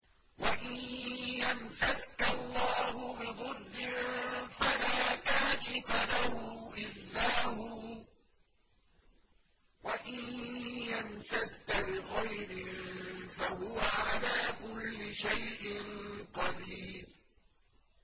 وَإِن يَمْسَسْكَ اللَّهُ بِضُرٍّ فَلَا كَاشِفَ لَهُ إِلَّا هُوَ ۖ وَإِن يَمْسَسْكَ بِخَيْرٍ فَهُوَ عَلَىٰ كُلِّ شَيْءٍ قَدِيرٌ